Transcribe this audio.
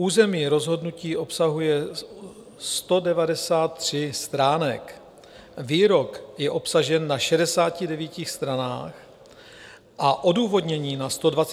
Územní rozhodnutí obsahuje 193 stránek, výrok je obsažen na 69 stranách a odůvodnění na 124 stranách.